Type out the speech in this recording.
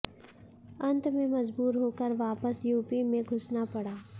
अंत में मजबूर होकर वापस यूपी में घुसना पड़ा